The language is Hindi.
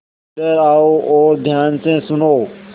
इधर आओ और ध्यान से सुनो